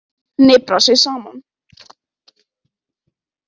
Hniprar sig saman.